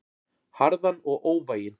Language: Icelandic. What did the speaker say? Harðan og óvæginn.